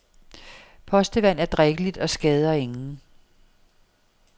Postevand er drikkeligt og skader ingen.